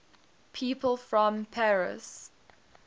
people from paris